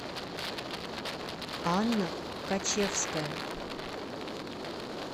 анна качевская